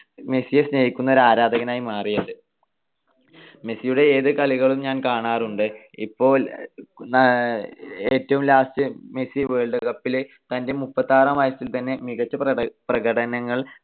മെസ്സിയെ സ്നേഹിക്കുന്ന ഒരു ആരാധകനായി മാറിയത്. മെസ്സിയുടെ ഏതു കളികളും ഞാൻ കാണാറുണ്ട്. ഇപ്പൊ ഏറ്റവും last മെസ്സി world cup ൽ തൻ്റെ മുപ്പത്തിയാറാം വയസ്സിൽ തന്നെ മികച്ച പ്രകടനങ്ങൾ